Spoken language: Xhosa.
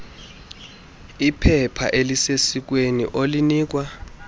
liphepha elisesikweni olinikwa